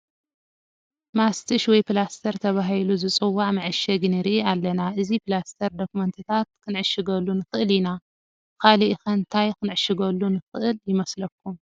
ማስትሽ ወይ ፕላስተር ተባሂሉ ዝፅዋዕ መዓሸጊ ንርኢ ኣለና፡፡ እዚ ፕላስተር ዶክመንትታት ክንዕሽገሉ ንኽእል ኢና፡፡ ካልእ ኸ እንታይ ክንዕሽገሉ ንኽእል ይመስለኩም?